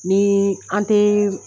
Ni an tɛ.